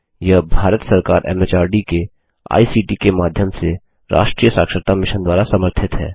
यह भारत सरकार के एमएचआरडी के आईसीटी के माध्यम से राष्ट्रीय साक्षरता मिशन द्वारा समर्थित है